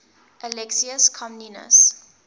alexius comnenus